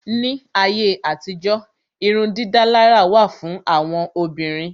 Ní ayé àtijó irun dídálárà wà fún àwọn Obìnrin.